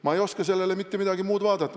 Ma ei oska sellele mitte midagi muud vastata.